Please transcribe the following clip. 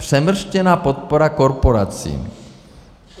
Přemrštěná podpora korporací.